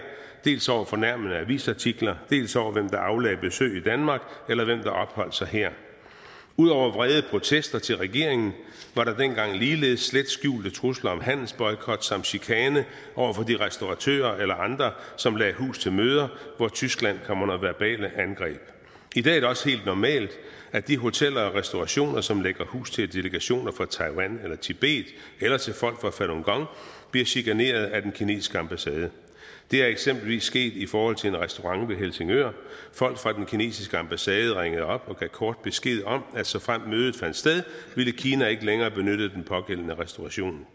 dels over fornærmende avisartikler dels over hvem der aflagde besøg i danmark eller hvem der opholdt sig her ud over vrede protester til regeringen var der dengang ligeledes slet skjulte trusler om handelsboykot samt chikane over for de restauratører eller andre som lagde hus til møder hvor tyskland kom under verbale angreb i dag er det også helt normalt at de hoteller og restaurationer som lægger hus til delegationer fra taiwan eller tibet eller til folk fra falun gong bliver chikaneret af den kinesiske ambassade det er eksempelvis sket i forhold til en restaurant ved helsingør folk fra den kinesiske ambassade ringede op og gav kort besked om at såfremt mødet fandt sted ville kina ikke længere benytte den pågældende restauration